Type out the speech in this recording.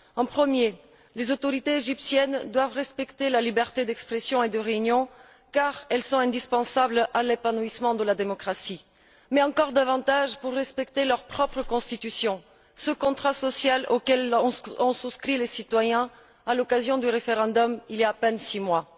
Le premier les autorités égyptiennes doivent respecter la liberté d'expression et de réunion car elles sont indispensables à l'épanouissement de la démocratie, mais encore davantage pour respecter leur propre constitution, ce contrat social auquel ont souscrit les citoyens à l'occasion du référendum, il y a à peine six mois.